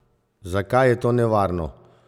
Zakaj je to nevarno?